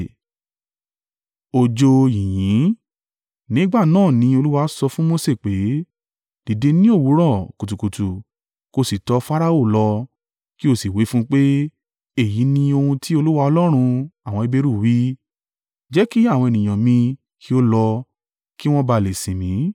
Nígbà náà ni Olúwa sọ fún Mose pé, “Dìde ni òwúrọ̀ kùtùkùtù, kí o sì tọ Farao lọ, kí o sì wí fún un pé, ‘Èyí ni ohun tí Olúwa Ọlọ́run àwọn Heberu wí, Jẹ́ kí àwọn ènìyàn mi kí ó lọ, kí wọn bá à lè sìn mí,